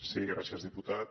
sí gràcies diputat